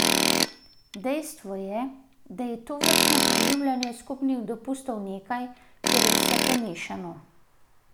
Dejstvo je, da je tovrstno preživljanje skupnih dopustov nekaj, kjer je vse pomešano.